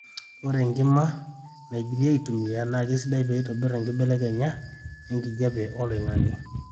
ore enkima naigili aitumia naa keisidai peeitobir embelekenya enkijape oloingange